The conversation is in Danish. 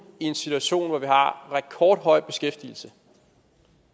i en situation hvor vi har rekordhøj beskæftigelse